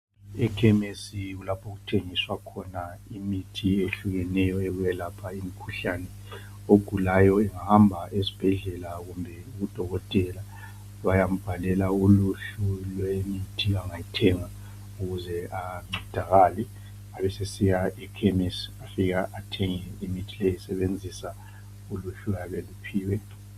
ekhemisi lapha okuthengiswa khona imithi ehlukeneyo yokwelapha imikhuhlane ogulayo engahamba esibhedela kubodokotela bayambalela imithi angayithenga ukuze ancedakale abe esesiya ekhemisi